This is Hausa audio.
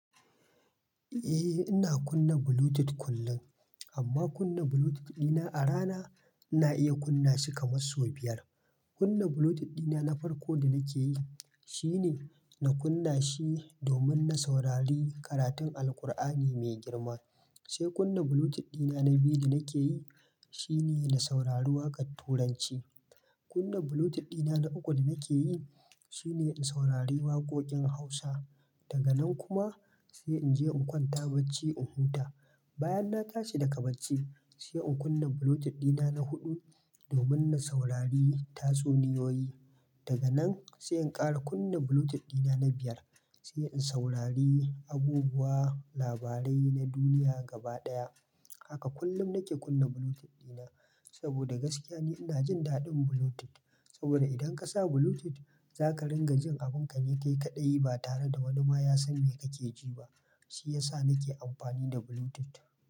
Eh ina kunna Bluetooth kullum, amma kunna Bluetooth dina a rana ina iya kunna shi kamar sau biyar. Kunna Bluetooth dina na farko da nake yi shine na kunna shi domin na saurari karatun Alqur'ani mai girma. Sai kunna Bluetooth dina na biyu da nake yi shine na saurari waƙar Turanci. Kunna Bluetooth dina na uku da nake yi shine in saurari waƙoƙin Hausa. Daga nan kuma sai in je in kwanta bacci in huta. Bayan na tashi daga bacci sai in kunna Bluetooth dina na huɗu domin na saurari tatsuniyoyi. Daga nan sai in ƙara kunna Bluetooth dina na biyar sai in saurari abubuwa labarai na duniya gaba ɗaya. Haka kullum nake kunna Bluetooth dina saboda gaskiya ne ina jin daɗin Bluetooth. Saboda idan ka sa Bluetooth za ka ringa jin abun ka nika yi kaɗai ba tare da wani ma ya san me kake ji ba. Shi ya sa nake amfani da Bluetooth.